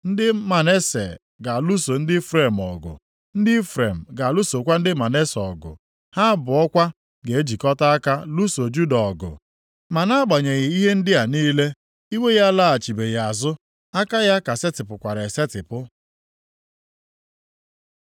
Ndị Manase ga-alụso ndị Ifrem ọgụ, ndị Ifrem ga-alụsokwa ndị Manase ọgụ. Ha abụọ kwa ga-ejikọta aka lụso Juda ọgụ. Ma nʼagbanyeghị ihe ndị a niile, iwe ya alaghachibeghị azụ. Aka ya ka setịpụkwara esetipụ.